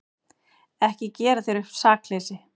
Ekki gera þér upp sakleysi.